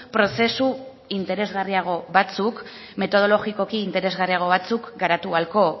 prozesu interesgarriago batzuk metodologikoki interesgarriago batzuk garatu ahalko